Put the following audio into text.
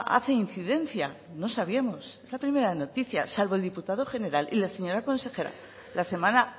ah hace incidencia no sabíamos es la primera noticia salvo el diputado general y la señora consejera la semana